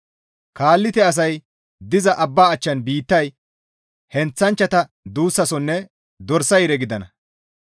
Kaalite asay diza abba achcha biittay heenththanchchata duussasonne dorsa yire gidana.